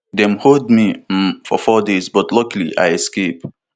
dem hold me um for four days but luckily i escape